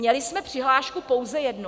Měli jsme přihlášku pouze jednu.